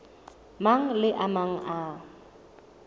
mang le a mang a